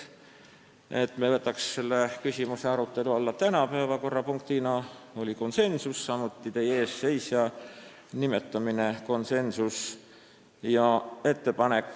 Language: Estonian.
Otsustasime, et me võtaksime selle küsimuse päevakorrapunktina arutelu alla täna , samuti oli konsensuslik otsus teie ees seisja nimetamine ettekandjaks.